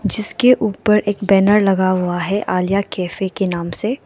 जिसके ऊपर एक बैनर लगा हुआ है आलिया कैफे के नाम से।